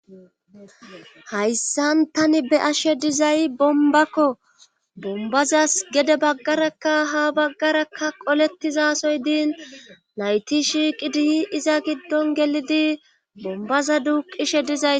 hayssan tani be'ashe dizay bombakko bombazas gede baggarakka ha baggarakka qoletizasoy diin nayti shiiqi diyi iza giddon gelidi bombaza duuqishe dizay